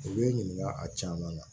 U bɛ n ɲininka a caman na